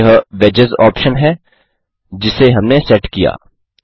यह wages option है जिसे हमने सेट किया